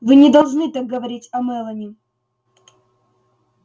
вы не должны так говорить о мелани